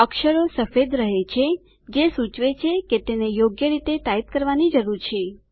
અક્ષરો સફેદ રહે છે જે સૂચવે છે કે તેને યોગ્ય રીતે ટાઇપ કરવાની જરૂર છે